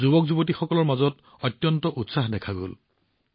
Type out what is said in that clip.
যুৱকযুৱতীসকলৰ মাজত যথেষ্ট উৎসাহ আৰু উদ্দীপনা দেখা গল